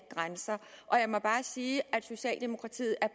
grænser og jeg må bare sige at socialdemokratiet er